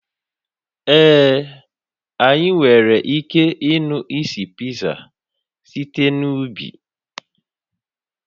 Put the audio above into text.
Ee, anyị nwere ike ịnụ isi Pizza site n'ubi